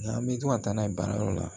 Nka an bɛ to ka taa n'a ye baarayɔrɔ la